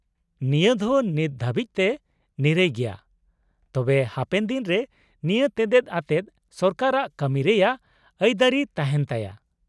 -ᱱᱤᱭᱟᱹ ᱫᱚ ᱱᱤᱛ ᱫᱷᱟᱹᱵᱤᱡ ᱛᱮ ᱱᱤᱨᱟᱹᱭ ᱜᱮᱭᱟ, ᱛᱚᱵᱮ ᱦᱟᱯᱮᱱ ᱫᱤᱱ ᱨᱮ ᱱᱤᱭᱟᱹ ᱛᱮᱛᱮᱫ ᱟᱛᱮᱫ ᱥᱚᱨᱠᱟᱨᱟᱜ ᱠᱟᱹᱢᱤᱭ ᱨᱮᱭᱟᱜ ᱟᱹᱭᱫᱟᱹᱨᱤ ᱛᱟᱦᱮᱸᱱᱛᱟᱭᱟ ᱾